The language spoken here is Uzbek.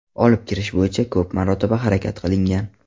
Olib kirish bo‘yicha ko‘p marotaba harakat qilingan.